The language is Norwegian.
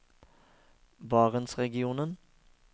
barentsregionen